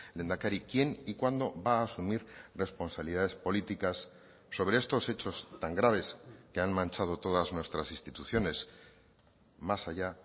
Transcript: lehendakari quién y cuándo va a asumir responsabilidades políticas sobre estos hechos tan graves que han manchado todas nuestras instituciones más allá